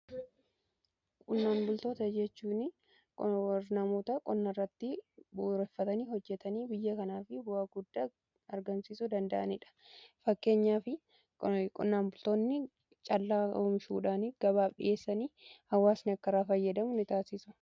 Qonnaan bultoota jechuuni namoota qonnarratti bu'uureffatanii hojjetanii biyya kanaa fi bu'a guddaa argansiisu danda'aniidha. Fakkeenyaaf qonnaan bultoonni caalaa oomishuudhaan gabaf dhi'eessanii hawaasni akka irraa fayyadamuu ni taasisu.